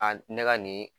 A ne ka nin